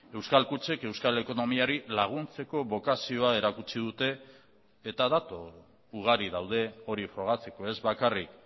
euskal kutxek euskal ekonomiari laguntzeko bokazioa erakutsi dute eta datu ugari daude hori frogatzeko ez bakarrik